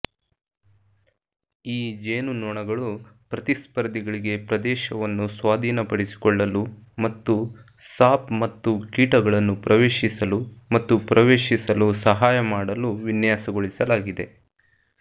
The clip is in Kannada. ಈ ಜೇನುನೊಣಗಳು ಪ್ರತಿಸ್ಪರ್ಧಿಗಳಿಗೆ ಪ್ರದೇಶವನ್ನು ಸ್ವಾಧೀನಪಡಿಸಿಕೊಳ್ಳಲು ಮತ್ತು ಸಾಪ್ ಮತ್ತು ಕೀಟಗಳನ್ನು ಪ್ರವೇಶಿಸಲು ಮತ್ತು ಪ್ರವೇಶಿಸಲು ಸಹಾಯ ಮಾಡಲು ವಿನ್ಯಾಸಗೊಳಿಸಲಾಗಿದೆ